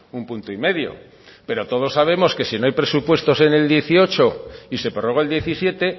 un punto y medio pero todos sabemos que si no hay presupuestos en el dieciocho y se prorroga el diecisiete